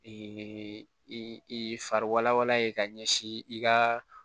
i fari walawala ye ka ɲɛsin i ka